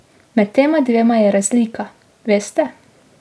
Med tema dvema je razlika, veste.